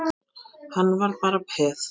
Hann var bara peð.